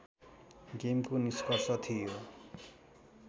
गेमको निष्कर्ष थियो